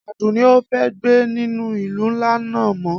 Adunni o fe gbe ninu ilu nla naa mo